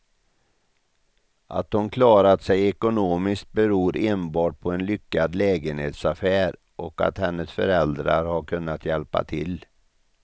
Att hon klarat sig ekonomiskt beror enbart på en lyckad lägenhetsaffär och att hennes föräldrar har kunnat hjälpa till.